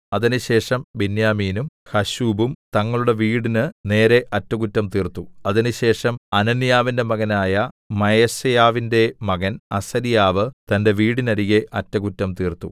അതിന്‍റെശേഷം ബെന്യാമീനും ഹശ്ശൂബും തങ്ങളുടെ വീടിന് നേരെ അറ്റകുറ്റം തീർത്തു അതിന്‍റെശേഷം അനന്യാവിന്റെ മകനായ മയസേയാവിന്റെ മകൻ അസര്യാവ് തന്റെ വീടിനരികെ അറ്റകുറ്റം തീർത്തു